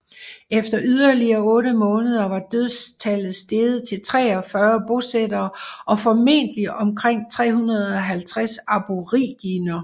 Efter yderligere otte måneder var dødstallet steget til 43 bosættere og formentligt omkring 350 aboriginere